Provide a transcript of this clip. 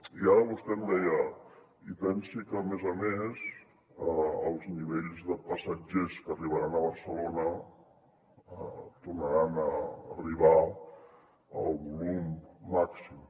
i ara vostè em deia i pensi que a més a més els nivells de passatgers que arribaran a barcelona tornaran a arribar al volum màxim